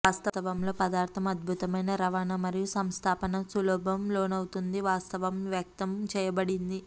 వాస్తవంలో పదార్థం అద్భుతమైన రవాణా మరియు సంస్థాపన సులభం లోనవుతుంది వాస్తవం వ్యక్తం చేయబడింది